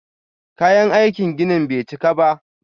Kayan aikin ginin bai cika ba.